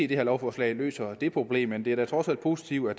det her lovforslag løser det problem men det er da trods alt positivt at